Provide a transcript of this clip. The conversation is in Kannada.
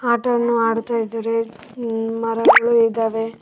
ಆಟವನ್ನು ಆಡುತ್ತ ಇದ್ದಾರೆ ಹಮ್ ಮರಗಳು ಇದಾವೆ.